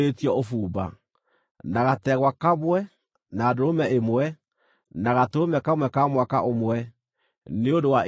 na gategwa kamwe, na ndũrũme ĩmwe, na gatũrũme kamwe ka mwaka ũmwe, nĩ ũndũ wa iruta rĩa njino;